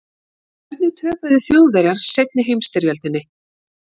hvernig töpuðu þjóðverjar seinni heimsstyrjöldinni